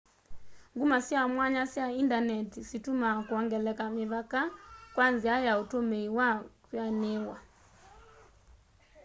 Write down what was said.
nguma sya mwanya sya indaneti situmaa kwongeleka mĩvaka kwa nzia ya utumii na kwianiiwa